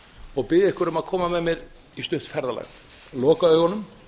og biðja ykkur um að koma með mér í stutt ferðalag loka augunum